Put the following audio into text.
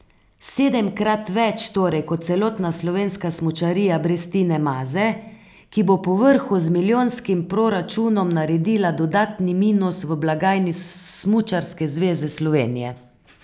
Sedemkrat več torej kot celotna slovenska smučarija brez Tine Maze, ki bo povrhu z milijonskim proračunom naredila dodatni minus v blagajni Smučarske zveze Slovenije.